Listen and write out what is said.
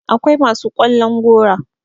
akwai masu ƙwallon gora